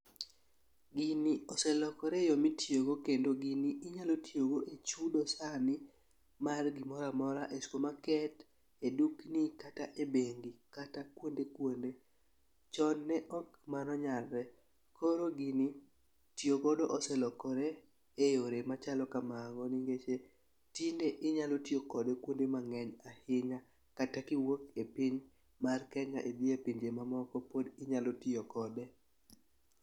Gini oselokore e yoo mitiyo go kendo gini inyalo tiyo go e chudo sani mar gimoramora e supermarket e dukni kata ebengi kata kuonde kuonde ,chon ne ok mano nyakre .Koro gini oselokore e yore machalo kamago niech tinde inyalo tiyo kod kuonde mang'eny a hinya kata kiwuok e piny mar kenya idhie pinje mamoko pod inyalo tiye kode.